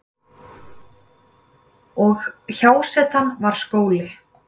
Og hjásetan var skóli.